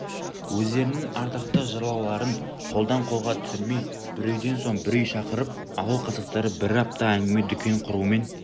өздерінің ардақты жырауларын қолдан қолға түсірмей бір үйден соң бір үй шақырып ауыл қазақтары бір апта әңгіме-дүкен құрумен